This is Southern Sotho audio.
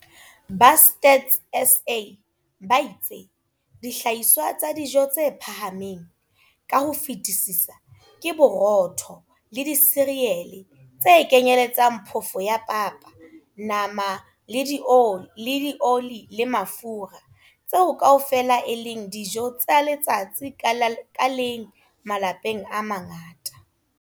Ba Stats SA ba itse dihlahiswa tsa dijo tse phahameng ka ho fetisisa ke borotho le disirele tse kenyeletsang phofo ya papa, nama le dioli le mafura tseo kaofela e leng dijo tsa letsatsi ka leng malapeng a mangata.